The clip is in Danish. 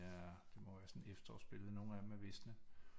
Er det må være sådan et efterårsbillede nogle af dem er visne